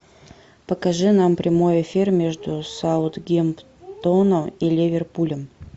покажи нам прямой эфир между саутгемптоном и ливерпулем